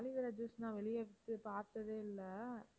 aloe vera juice நான் வெளியே போய் பார்த்ததே இல்லை